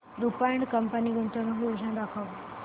Rupa and company गुंतवणूक योजना दाखव